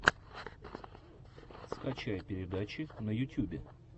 скачай передачи на ютюбе